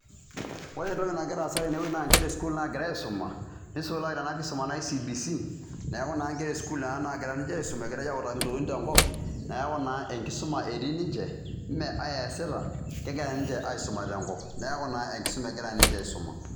Ore entoki nagira aasa tenewuoi naa inkera esukuul naagira aaisuma, nisulaki tena kisuma naji CBC, neaku inkera esukuul nena naagira ninche aaisuma egirai aautaki intokitin tenkop, neaku naa enkisuma etii ninche, mee ai eesita, kegira ninche aaisuma tenkop. Neeku naa enkisuma egira ninche aaisuma.